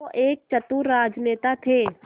वो एक चतुर राजनेता थे